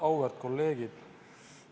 Auväärt kolleegid!